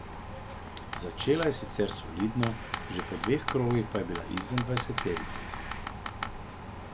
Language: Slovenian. Začela je sicer solidno, že po dveh krogih pa je bila izven dvajseterice.